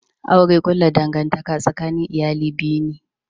Aure kulla dangantaka tsakanin iyali biyu ne